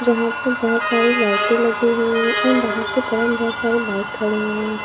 जहां पे बहोत सारी लाइटें लगी हुई है और बाहर की तरफ बहोत सारी बाइक खड़े हुए हैं।